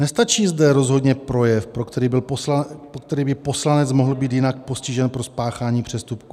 Nestačí zde rozhodně projev, pro který by poslanec mohl být jinak postižen pro spáchání přestupku.